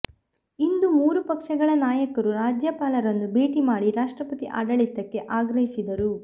ಇಂದು ಮೂರು ಪಕ್ಷಗಳ ನಾಯಕರು ರಾಜ್ಯಪಾಲರನ್ನು ಭೇಟಿ ಮಾಡಿ ರಾಷ್ಟ್ರಪತಿ ಆಡಳಿತಕ್ಕೆ ಆಗ್ರಹಿಸಿದರು